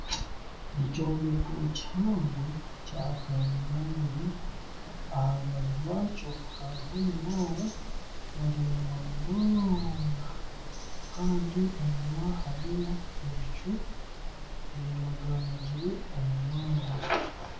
Ekyombeko kihango kya kanyina ibiri aharubaju rw'akyo hariho omunaara muraingwa munonga Kandi enyuma hariyo ebicu by'enaganagire omu mwanya .